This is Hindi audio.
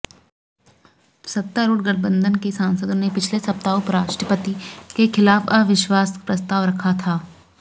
सत्तारूढ़ गठबंधन के सांसदों ने पिछले सप्ताह उपराष्ट्रपति के खिलाफ अविश्वास प्रस्ताव रखा था